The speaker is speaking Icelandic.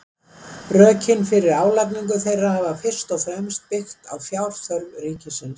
rökin fyrir álagningu þeirra hafa fyrst og fremst byggt á fjárþörf ríkisins